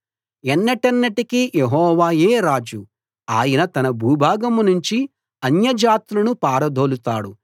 ఎన్నటెన్నటికీ యెహోవాయే రాజు ఆయన తన భూభాగం నుంచి అన్యజాతులను పారదోలుతాడు